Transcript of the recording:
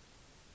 aminosyrene